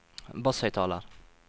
basshøyttaler